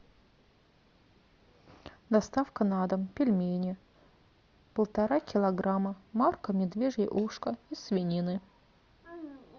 доставка на дом пельмени полтора килограмма марка медвежье ушко из свинины